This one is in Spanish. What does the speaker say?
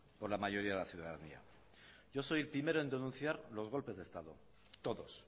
con la mayoría de la ciudadanía yo soy el primero en denunciar los golpes de estado todos